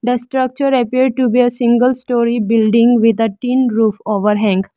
a structure appear to be a single story building with a tin roof overhang.